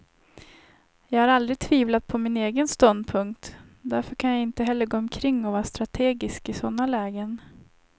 Jag har aldrig tvivlat på min egen ståndpunkt, och därför kan jag inte heller gå omkring och vara strategisk i sådana lägen.